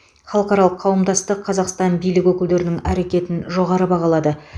халықаралық қауымдастық қазақстан билік өкілдерінің әрекетін жоғары бағалады